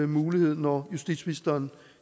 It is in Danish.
mulighed når justitsministeren